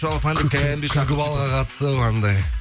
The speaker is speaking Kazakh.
күзгі балға қатысып анандай